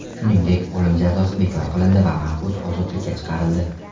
Shuningdek, o‘lim jazosi bekor qilindi va mahbus ozodlikka chiqarildi.